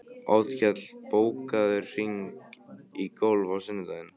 Oddkell, bókaðu hring í golf á sunnudaginn.